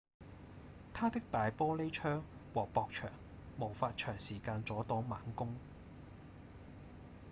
它的大玻璃窗和薄牆無法長時間阻擋猛攻